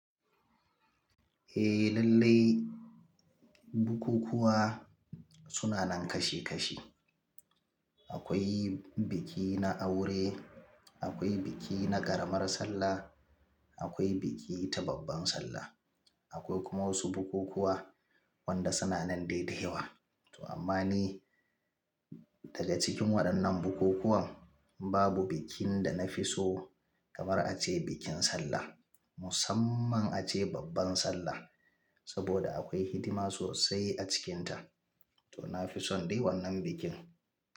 Eh lallai, bukukuwa suna nan kashi kashi. Akwai biki na aure, akwai biki na ƙaramar sallah, akwai biki ta babban sallah, akwai kuma wasu bukukuwa wanda suna nan dai da yawa. To amma ni daga cikin waɗannan bukukuwan, babu bikin da na fi so kamar a ce bikin sallah. Musamman a ce babban sallah, saboda akwai hidima sosai a cikinta. To na fi son dai wannan bikin.